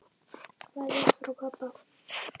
Kveðja frá pabba.